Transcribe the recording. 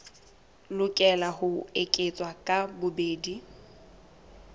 lokela ho eketswa ka bobedi